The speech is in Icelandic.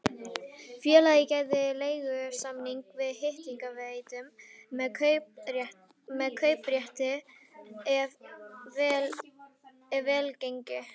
Félagið gerði leigusamning við hitaveituna með kauprétti ef vel gengi.